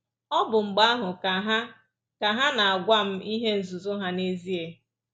Ọ bụ mgbe ahụ ka ha ka ha na-agwa m ihe nzuzo ha n’ezie.